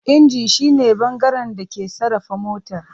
Inji shi ne bangaren da ke sarrafa motar.